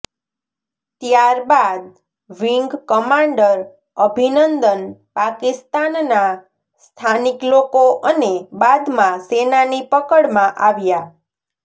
ત્યારબાદ wing commander Abhinandan પાકિસ્તાનના સ્થાનિક લોકો અને બાદમાં સેનાની પકડમાં આવ્યા